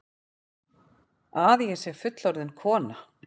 Að ég sé fullorðin kona.